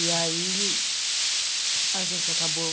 E aí a gente acabou...